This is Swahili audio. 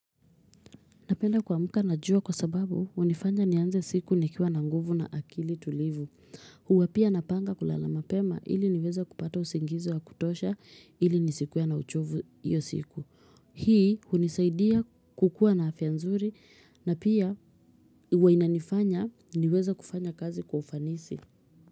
Napenda kuwa mka na jua kwa sababu unifanya nianze siku nikiwa na nguvu na akili tulivu. Huwapia napanga kulalama pema ili niweza kupata usingizi wa kutosha ili ni sikuwa na uchovu iyo siku. Hii unisaidia kukuwa na afyanzuri na pia huwainanifanya niweza kufanya kazi kufanisi.